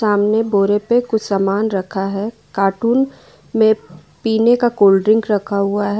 सामने बोरे पे कुछ सामान रखा है कार्टून में पीने का कोल्ड ड्रिंक रखा हुआ है।